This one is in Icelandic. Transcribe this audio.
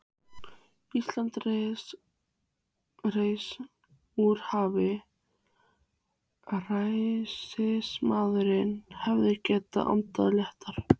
Ísland reis úr hafi, ræðismaðurinn hefur getað andað léttara.